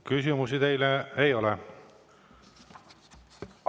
Küsimusi teile ei ole.